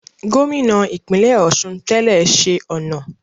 Gómìnà ìpínlẹ̀ Ọ̀ṣun tẹ́lẹ̀ ṣe ọ̀nà